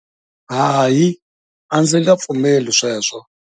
Hayi, a ndzi nga pfumeli sweswo.